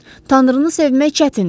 Tanrını sevmək çətindir.